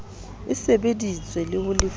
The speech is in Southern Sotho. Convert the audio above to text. e sebeditswe le ho lefuwa